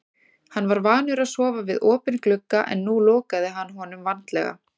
Hann var vanur að sofa við opinn glugga en nú lokaði hann honum vandlega.